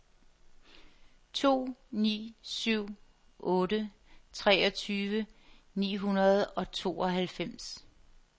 to ni syv otte treogtyve ni hundrede og tooghalvfems